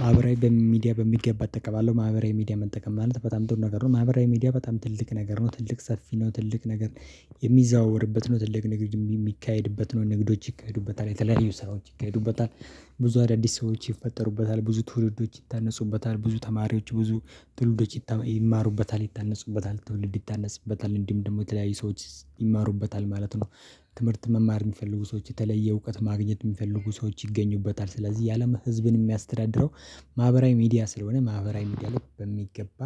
ማህበራዊ በሚዲያ በሚገባ እጠቀማለሁ ማህበራዊ ሚዲያ መጠቀም ማለት በጣም ጥሩ ነገር ነው። ማህበራዊ ሚዲያ በጣም ትልቅ ነገር ነው። ትልቅ ሰፊ ነው። ትልቅ ነገር የሚዘዋወርበት ነው ትልቅ ነገር የሚካሄድበት ነው ንግዶች ይካሄዱበታል የተለያዩ ስራዎች ይካሄዱበታል። ብዙ አዳዲስ ሰዎች ይፈጠሩበታል ብዙ ትውልዶች ይታነጹበታል ብዙ ተማሪዎች ብዙ ትውልዶች ይማሩበታል ይታነጹበታል ትውልድ ይታነጽበታል እንዲሁም ደግሞ የተለያየ ሰዎች ይማሩበታል ማለት ነው። ትምህርት መማር የሚፈልጉ ሰዎች የተለየ እውቀት ማግኘት የሚፈልጉ ሰዎች ይገኙበታል። ስለዚህ የአለም ህዝብን የሚያስተዳድረው ማህበራዊ ሚዲያ ስለሆነ ማህበራዊ ሚዲያ ላይ በሚገባ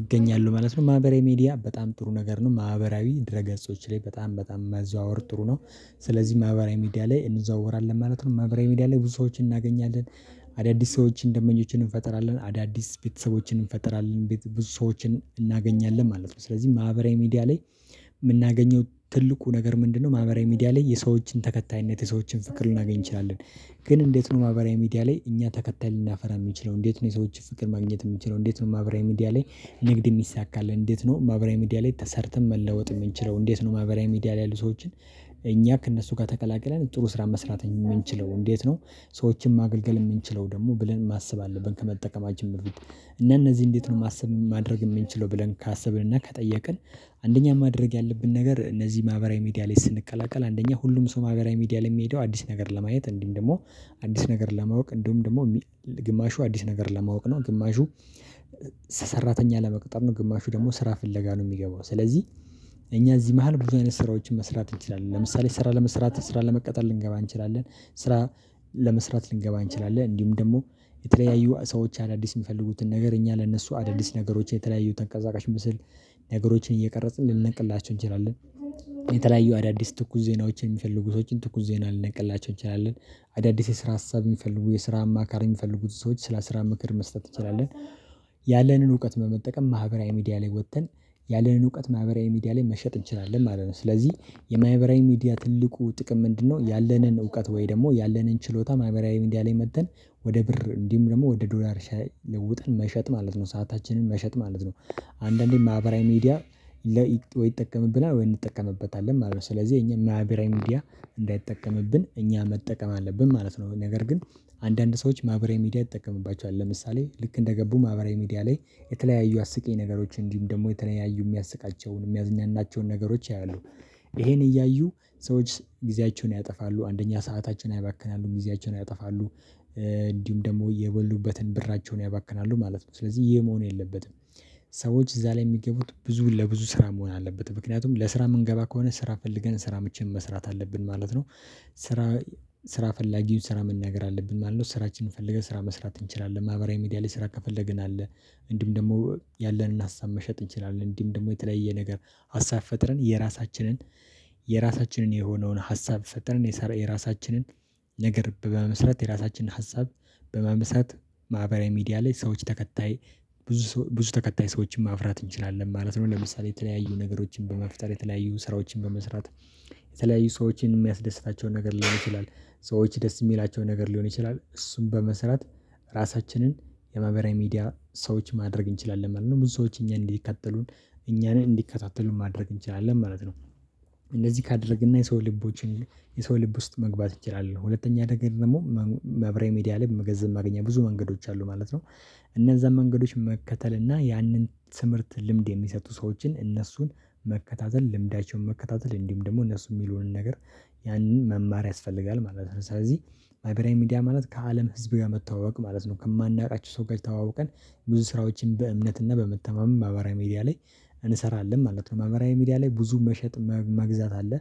እገኛለሁ ማለት ነው። ማህበራዊ ሚዲያ በጣም ጥሩ ነገር ነው ማህበራዊ ድረ ገጾች ላይ በጣም በጣም መዘዋወር ጥሩ ነው። ስለዚህ ማህበራዊ ሚዲያ ላይ እንዘዋወራለን ማለት ነው ማህበራዊ ሚዲያ ላይ ብዙ ሰዎችን እናገኛለን። አዳዲስ ሰዎችን ደንበኞችን እንፈጥራለን አዳዲስ ቤተሰቦችን እንፈጥራለን ብዙ ሰዎችን እናገኛለን ማለት ነው። ስለዚህ ማህበራዊ ሚዲያ ላይ የምናገኘው ትልቁ ነገር ምንድነው? ማህበራዊ ሚዲያ ላይ የሰዎችን ተከታይነት የሰዎችን ፍቅር ልናገኝ እንችላለን። ግን እንዴት ነው? ማበሪያ ሚዲያ ላይ እኛ ተከታይ ልናፈራ የምንችለው እንዴት ነው? የሰዎች ፍቅር ማግኘት የሚችለው እንዴት ነው? ማብራይ ሚዲያ ላይ ንግድ ሚይሳካል እንዴት ነው? ማህበራዊ ሚዲያ ላይ ተሰርተን መለወጥ የምንችለው እንዴት ነው? ማህበራዊ ሚዲያ ላይ ያሉ ሰዎችን እኛ ከእነሱ ጋር ተቀላቅለን ጥሩ ስራ መስራት የምንችለው እንዴት ነው? ሰዎችን ማገልገል የምንችለው ደግሞ ብለን ማሰብ አለብን። ከመጠቀማችን በፊት እንዴት ነው ማሰብ ማድረግ የምንችለው ብለን ካሰብን እና ከጠየቅን? አንደኛ ማድረግ ያለብን ነገር እነዚህ ማህበራዊ ሚዲያ ላይ ስንቀላቀል አንደኛ ሁሉም ማገራዊ ሚዲያ ላይ የሚሄደው አዲስ ነገር ለማየት እንዲህ እንደውም አዲስ ነገር ለማወቅ እንዲሁም ደግሞ ግማሹ አዲስ ነገር ለማወቅ ነው። ግማሹ ሰራተኛ ለመቅጠር ነው። ግማሹ ደግሞ ስራ ፍለጋ ነው። የሚገባው ስለዚህ እኛ እዚህ መሃል ብዙ አይነት ስራዎችን መስራት እንችላለን። ለምሳሌ ስራ ለመስራት ስራ ለመቀጠል ልንገባ እንችላለን ስራ ለመስራት ልንገባ እንችላለን። እንዲሁም ደግሞ የተለያዩ ሰዎች አዳዲስ የሚፈልጉትን ነገር እኛ ለእነሱ አዳዲስ ነገሮች የተለያዩ ተንቀሳቃሽ ምስል ነገሮችን እየቀረጽን ልንልክላቸው እንችላለን። አዳዲስ ትኩስ ዜናዎችን የሚፈልጉ ሰዎችን ትኩስ ዜና ሊነቅላቸው ይችላሉ። አዳዲስ የስራ ሀሳብ የሚፈልጉ የስራ አማካር የሚፈልጉት ሰዎች ስለ ስራ ምክር መስጠት እንችላለን። ያለንን እውቀት በመጠቀም ማህበራዊ ሚዲያ ላይ ወጥተን ያለንን እውቀት ማህበራዊ ሚዲያ ላይ መሸጥ እንችላለን ማለት ነው። ስለዚህ የማህበራዊ ሚዲያ ትልቁ ጥቅም ምንድነው? ያለንን እውቀት ወይ ደግሞ ያለንን ችሎታ ማይበራዊ እንዲያለኝ መጥተን ወደ ብር እንዲሁም ደግሞ ወደ ዶላር ለውጥን መሸጥ ማለት ነው። ሰአታችንን መሸጥ ማለት ነው። አንዳንዴ ማህበራዊ ሚዲያ ለ ወይ ይጠቀምብና ወይ እንጠቀምበታለን ማለት ነው። ስለዚህ የኛ ማህበራዊ ምድያ እንዳይጠቀምብን እኛ መጠቀም አለብን ማለት ነው። ነገር ግን አንዳንድ ሰዎች ማህበራዊ ሚዲያ ይጠቀምባቸዋል ለምሳሌ ልክ እንደገቡ ማህበራዊ ሚዲያ ላይ የተለያዩ አስቂኝ ነገሮች እንዲሁም ደግሞ የተለያዩ የሚያስቃቸውን የሚያዝናናቸውን ነገሮች ያያሉ። ይሄን እያዩ ሰዎች ጊዜያቸውን ያጠፋሉ አንደኛ ሰዓታችን ያባክናሉ ጊዜያችን ያጠፋሉ። እንዲሁም ደግሞ የበሉበትን ብራቸውን ያባክናሉ ማለት ነው። ስለዚህ ይህ መሆን የለበትም። ሰዎች እዛ ላይ የሚገቡት ብዙ ለብዙ ስራ መሆን አለበት ምክንያቱም ለስራ የምንገባ ከሆነ ስራ ፈልገን ስራ ምቼን መስራት አለብን ማለት ነው። ስራ ስራ ፈላጊው ስራ መናገር አለብን ማለት ነው። ስራችንን ፈልገን ስራ መስራት እንችላለን። ማህበራዊ ሚዲያ ላይ ስራ ከፈለግን አለ እንዲህም ደግሞ ያለንን ሀሳብ መሸጥ እንችላለን። እንዲህም ደግሞ የተለያየ ነገር ሀሳብ ፈጥረን የራሳችንን የራሳችንን የሆነውን ሀሳብ ፈጠርን የራሳችንን ነገር በመመስረት የራሳችንን ሀሳብ በመመስረት ማህበራዊ ሚዲያ ላይ ሰዎች ተከታይ ብዙ ተከታይ ሰዎችን ማፍራት እንችላለን ማለት ነው። ለምሳሌ የተለያዩ ነገሮችን በመፍጠር የተለያዩ ስራዎችን በመስራት የተለያዩ ሰዎችን የሚያስደስታቸውን ነገር ሊሆን ይችላል። ሰዎች ደስ የሚላቸውን ነገር ሊሆን ይችላል። እሱን በመስራት ራሳችንን የማህበራዊ ሚዲያ ሰዎች ማድረግ እንችላለን ማለት ነው። ብዙ ሰዎች እኛ እንዲከታተሉን እኛን እንዲከታተሉን ማድረግ እንችላለን ማለት ነው። እንደዚህ ካደረግን እና የሰው ልቦችን የሰው ልብ ውስጥ መግባት ይችላል። ሁለተኛ ነገር ደግሞ ማህበራዊ ሚዲያ ላይ ገንዘብ ማግኛ ብዙ መንገዶች አሉ ማለት ነው። እነዛን መንገዶች መከተል እና ያንን ትምህርት ልምድ የሚሰጡ ሰዎችን እነሱን መከታተል ልምዳቸውን መከታተል እንዲሁም ደግሞ እነሱ የሚሉንን ነገር ያንን መማር ያስፈልጋል ማለት ነው። ስለዚህ ማህበራዊ ሚዲያ ማለት ከአለም ህዝብ ጋር መተዋወቅ ማለት ነው። ከማናውቃቸው ሰው ጋር ተዋውቀን ብዙ ስራዎችን በእምነት እና በመተማመን ማህበራዊ ሚዲያ ላይ እንሰራለን ማለት ነው። ማህበራዊ ሚዲያ ላይ ብዙ መሸጥ መግዛት አለ።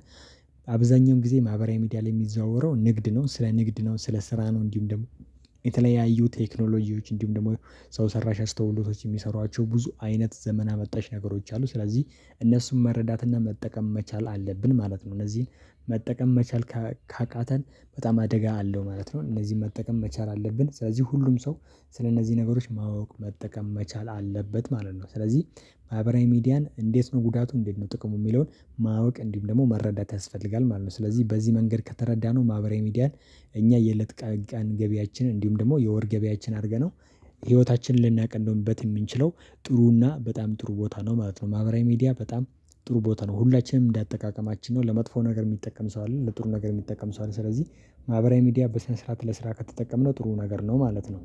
አብዛኛውን ጊዜ ማህበራዊ ሚዲያ ላይ የሚዘዋወረው ንግድ ነው። ስለ ንግድ ነው ስለ ስራ ነው። እንዲሁም ደግሞ የተለያዩ ቴክኖሎጂዎች እንዲሁም ደግሞ ሰው ሰራሽ አስተውሎቶች የሚሰሯቸው ብዙ አይነት ዘመና አመጣሽ ነገሮች አሉ። ስለዚህ እነሱን መረዳትና መጠቀም መቻል አለብን ማለት ነው። እነዚህን መጠቀም መቻል ካቃተን በጣም አደጋ አለው ማለት ነው። እነዚህን መጠቀም መቻል አለብን ስለዚህ ሁሉም ሰው ስለእነዚህ ነገሮች ማወቅ መጠቀም መቻል አለበት ማለት ነው። ስለዚህ ማህበራዊ ሚዲያን እንዴት ነው ጉዳቱ እንዴት ነው ጥቅሙ የሚለውን ማወቅ እንዲሁም ደግሞ መረዳት ያስፈልጋል ማለት ነው። ስለዚህ በዚህ መንገድ ከተረዳነው ማህበራዊ ሚዲያን እኛ የለጥቃን ገቢያችን እንዲሁም ደግሞ የወር ገቢያችን አድርገነው ህይወታችንን ልናቀልበት የምንችለው ጥሩና በጣም ጥሩ ቦታ ነው ማለት ነው። ማህበራዊ ሚዲያ በጣም ጥሩ ቦታ ነው። ሁላችንም እንደ አጠቃቀማችን ነው ለመጥፎ ነገር የሚጠቀም ሰው አለ። ለጥሩ ነገር የሚጠቀም ሰው አለ። ስለዚህ ማህበራዊ ሚዲያ በስነ ስርዓት ለስራ ከተጠቀምነው ጥሩ ነገር ነው ማለት ነው